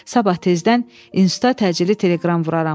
Sabah tezdən instuta təcili teleqram vuraram.